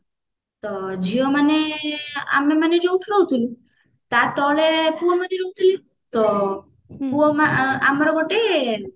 ତ ଝିଅମାନେ ଆମେ ମାନେ ଯୋଉଠି ରହୁଥିଲୁ ତା ତଳେ ପୁଅମାନେ ରହୁଥିଲେ ତ ଆମର ଗୋଟେ